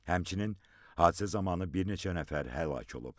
Həmçinin, hadisə zamanı bir neçə nəfər həlak olub.